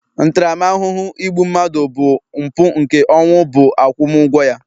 ntaramahụhụ igbu mmadụ bụ mpu nke ọnwụ bu agwumu ugwo ya